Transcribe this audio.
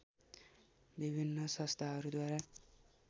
विभिन्न संस्थाहरूद्वारा